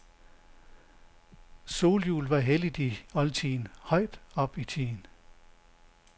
Solhjulet var helligt i oldtiden, højt op i tiden.